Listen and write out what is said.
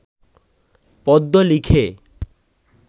পদ্য লিখে